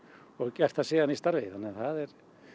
og gert það síðan í starfi þannig að það er